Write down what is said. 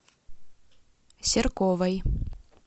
серковой